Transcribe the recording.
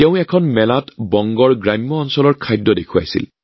এখন মেলাৰ সময়ত তেওঁ বংগৰ গ্ৰামাঞ্চলৰ খাদ্য সামগ্ৰী প্ৰদৰ্শন কৰিছিল